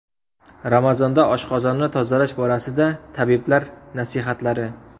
Ramazonda oshqozonni tozalash borasida tabiblar nasihatlari.